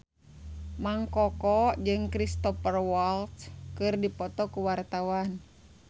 Mang Koko jeung Cristhoper Waltz keur dipoto ku wartawan